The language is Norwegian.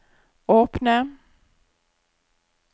åpne